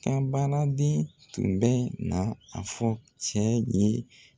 Ka baaraden tun bɛ na a fɔ cɛ in ye.